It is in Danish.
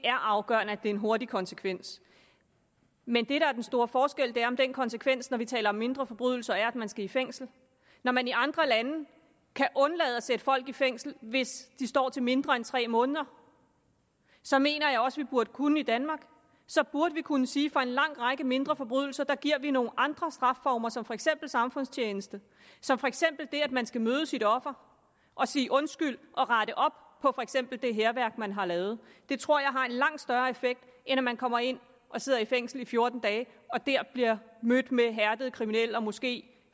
er afgørende med en hurtig konsekvens men det der er den store forskel er om den konsekvens når vi taler om mindre forbrydelser er at man skal i fængsel når man i andre lande kan undlade at sætte folk i fængsel hvis de står til mindre end tre måneder så mener jeg også vi burde kunne i danmark så burde vi kunne sige for en lang række mindre forbrydelser giver nogle andre strafformer som for eksempel samfundstjeneste som for eksempel det at man skal møde sit offer og sige undskyld og rette op på for eksempel det hærværk man har lavet det tror jeg har en langt større effekt end at man kommer ind og sidder i fængsel i fjorten dage og der bliver mødt af hærdede kriminelle og måske